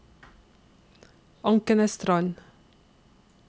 Ankenesstrand